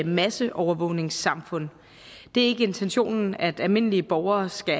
masseovervågningssamfund det er ikke intentionen at almindelige borgere skal